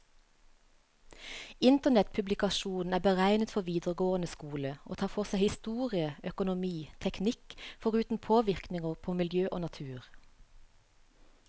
Internettpublikasjonen er beregnet for videregående skole, og tar for seg historie, økonomi, teknikk, foruten påvirkninger på miljø og natur.